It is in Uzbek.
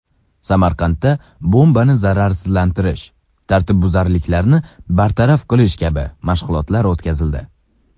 Samarqandda bombani zararsizlantirish, tartibbuzarliklarni bartaraf qilish kabi mashg‘ulotlar o‘tkazildi.